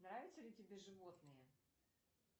нравятся ли тебе животные